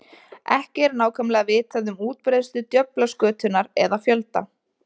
Ekki er nákvæmlega vitað um útbreiðslu djöflaskötunnar eða fjölda.